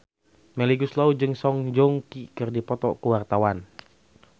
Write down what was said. Melly Goeslaw jeung Song Joong Ki keur dipoto ku wartawan